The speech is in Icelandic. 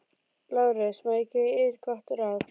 LÁRUS: Má ég gefa yður gott ráð?